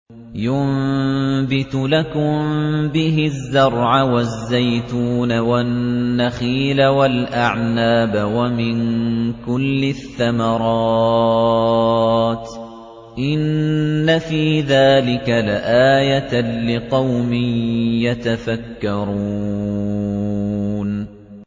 يُنبِتُ لَكُم بِهِ الزَّرْعَ وَالزَّيْتُونَ وَالنَّخِيلَ وَالْأَعْنَابَ وَمِن كُلِّ الثَّمَرَاتِ ۗ إِنَّ فِي ذَٰلِكَ لَآيَةً لِّقَوْمٍ يَتَفَكَّرُونَ